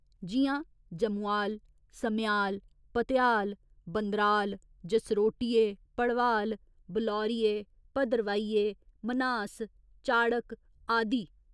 जि'यां जमुआल, समेआल, भतेआल, बंदराल, जसरोटिये, भड़वाल, बलौरिये, भद्रवाहिये, मन्हास, चाड़क आदि।